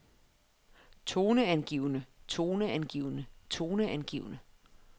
toneangivende toneangivende toneangivende